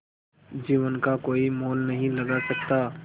जीवन का कोई मोल नहीं लगा सकता